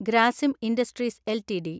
Grasim industries LTD